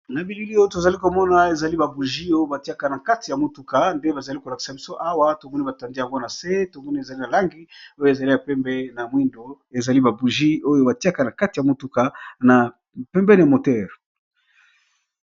Na bilili oyo tozali komona ezali ba bougies oyo batiaka na kati ya motuka nde bazali kolakisa biso awa tomoni batandi yango na se tomoni ezali na langi oyo ezali ya pembe na mwindo ezali ba bougies oyo batiaka na kati ya mutuka na pembeniya moteur .